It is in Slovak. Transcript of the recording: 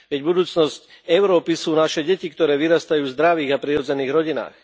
Veď budúcnosť Európy sú naše deti, ktoré vyrastajú v zdravých a prirodzených rodinách.